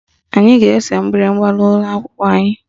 Anyị ga-ese mgbịrịgba n'ime akwụkwọ anyị